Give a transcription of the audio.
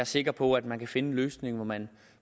sikker på at man kan finde en løsning hvor man